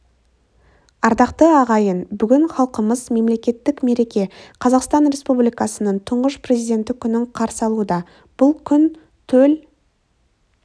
ардақты ағайын бүгін халқымыз мемлекеттік мереке қазақстан республикасының тұңғыш президенті күнін қарсы алуда бұл күн төл